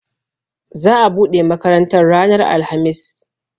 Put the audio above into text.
Za a buɗe makarantar ranar alhamis